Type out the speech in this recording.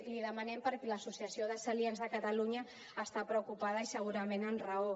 li ho demanem perquè l’associació de celíacs de catalunya està preocupada i segurament amb raó